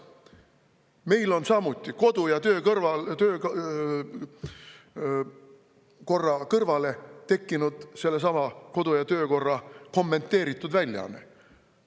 Meil on ka kodu‑ ja töökorra kõrvale tekkinud sellesama kodu‑ ja töökorra kommenteeritud väljaanne.